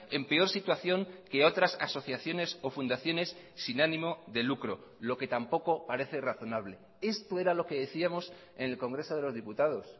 en peor situación que otras asociaciones o fundaciones sin ánimo de lucro lo que tampoco parece razonable esto era lo que decíamos en el congreso de los diputados